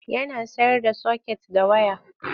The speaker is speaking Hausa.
Yana sayar da soket da waya.